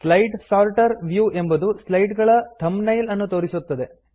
slide sorter view ಎಂಬುದು slide ಗಳ thumbnail ಅನ್ನು ತೋರಿಸುತ್ತದೆ